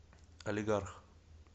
алигарх